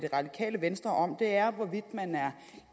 radikale venstre om er hvorvidt man er